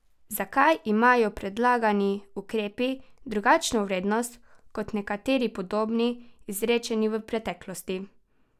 Zakaj imajo predlagani ukrepi drugačno vrednost kot nekateri podobni, izrečeni v preteklosti?